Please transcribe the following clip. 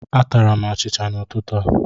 Atara m achịcha n'ụtụtụ a.